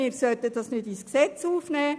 Wir sollten das nicht ins Gesetz aufnehmen.